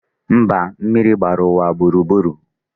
Mba, mmiri gbara ụwa gburugburu